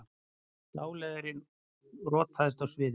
Dáleiðari rotaðist á sviði